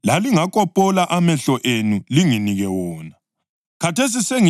Khathesi sengibe yisitha senu ngokulitshela iqiniso na?